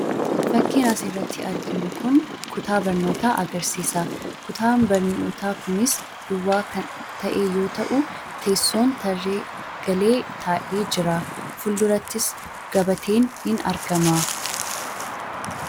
Fakkiin asirratti arginu Kun, kutaa barnootaa agarsiisa. kutaan barnoota kunis duwwaa kan ta'e yemmuu ta'u teessoon tarree galee taa'ee jira. Fuldurattis gabateen ni argama.